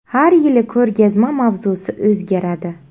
Har yili ko‘rgazma mavzusi o‘zgaradi.